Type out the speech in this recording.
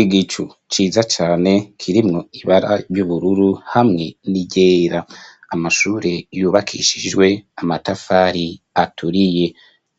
Igicu ciza cane, kirimwo ibara ry'ubururu, hamwe n'iryera; amashure, yubakishijwe amatafari aturiye;